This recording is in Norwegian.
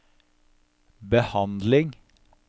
behandling